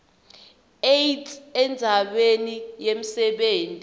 aids endzaweni yemsebenti